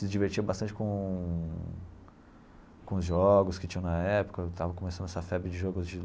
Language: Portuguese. Se divertia bastante com com os jogos que tinham na época, estava começando essa febre de jogos de